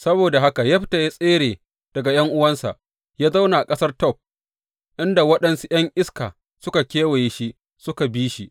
Saboda haka Yefta ya tsere daga ’yan’uwansa ya zauna a ƙasar Tob, inda waɗansu ’yan iska suka kewaye shi suka bi shi.